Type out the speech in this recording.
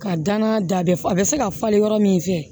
Ka danna da bɛ a bɛ se ka falen yɔrɔ min fɛ